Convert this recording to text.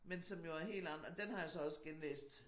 Men som jo er helt den har jeg jo så også genlæst